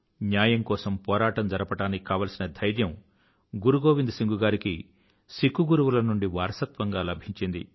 న్యాయం కోసం పోరాటం జరపడానికి కావలసిన ధైర్యం గురు గోవింద్ సింగ్ గారికి సిక్కు గురువుల నుండి వారసత్వంగా లభించింది